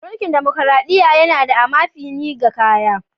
Munkil damakaraɗiya yana da amafini ga kaya.